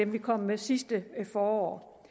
vi kom med sidste forår